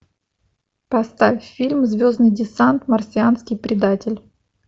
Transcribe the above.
поставь фильм звездный десант марсианский предатель